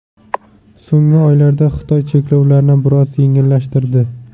So‘nggi oylarda Xitoy cheklovlarni biroz yengillashtirdi.